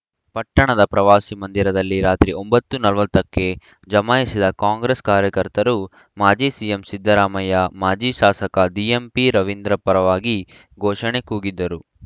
ಪಟ್ಟಣದ ಪ್ರವಾಸಿ ಮಂದಿರದಲ್ಲಿ ರಾತ್ರಿ ಒಂಬತ್ತು ನಲವತ್ತ ಕ್ಕೆ ಜಮಾಯಿಸಿದ ಕಾಂಗ್ರೆಸ್‌ ಕಾರ್ಯಕರ್ತರು ಮಾಜಿ ಸಿಎಂ ಸಿದ್ದರಾಮಯ್ಯ ಮಾಜಿ ಶಾಸಕ ದಿಎಂಪಿರವೀಂದ್ರ ಪರವಾಗಿ ಘೋಷಣೆ ಕೂಗಿದರು